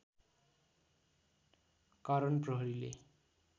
कारण प्रहरीले